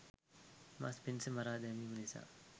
මස් පිණිස මරා දැමීම නිසා